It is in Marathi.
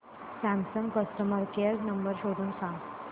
सॅमसंग कस्टमर केअर नंबर शोधून सांग